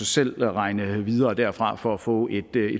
selv regne videre derfra for at få et